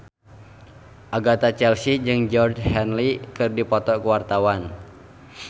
Agatha Chelsea jeung Georgie Henley keur dipoto ku wartawan